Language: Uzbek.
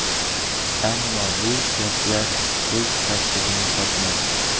Ammo bu gaplar o‘z tasdig‘ini topmadi.